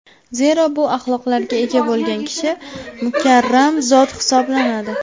Zero, bu axloqlarga ega bo‘lgan kishi mukarram zot hisoblanadi.